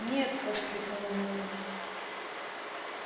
нет воскликнула мелани